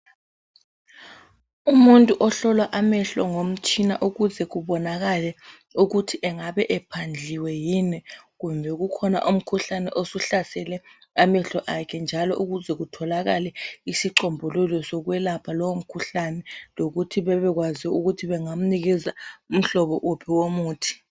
Umuntu ohlolwa amehlo ngomtshina ukuze kubonakale ukuthi engabe ephandliwe yini kumbe kukhona umkhuhlane osuhlasele amehlo akhe. Njalo ukuze kutholakale isichombululo sokwelapha lowumkhuhlane lokuthi bebekwazi ukuthi bengamnikeza umhlobo wuphi womuthi